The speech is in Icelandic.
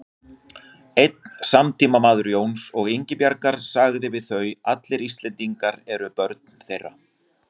Einn samtímamaður Jóns og Ingibjargar sagði um þau: Allir Íslendingar voru börn þeirra